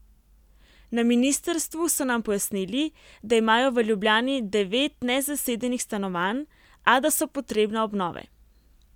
Na ministrstvu so nam pojasnili, da imajo v Ljubljani devet nezasedenih stanovanj, a da so potrebna obnove.